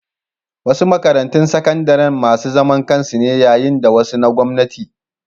Wasu makarantun sakandare masu zaman kansu ne yayin da wasu na gwamnati.